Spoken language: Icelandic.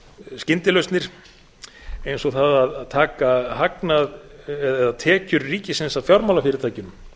skyndilausnir eins og það að taka hagnað eða tekjur ríkisins af fjármálafyrirtækjum